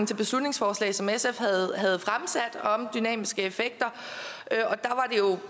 til beslutningsforslaget som sf havde havde fremsat om dynamiske effekter